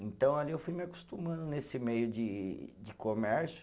Então ali eu fui me acostumando nesse meio de de comércio.